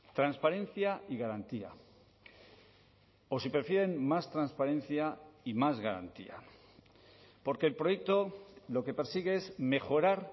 transparencia y garantía o si prefieren más transparencia y más garantía porque el proyecto lo que persigue es mejorar